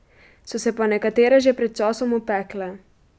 So se pa nekatere že pred časom opekle.